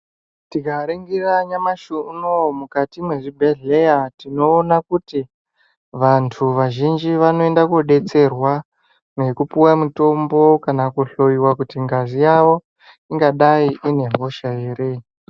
Tikaringira nyamashi unou mukati mwezvibhehlera tinoona kuti vantu vazhinji vanoenda kodetserwa nekupuva mutombo kana kuhloyiva kuti ngazi yavo ingadai ine hosha here.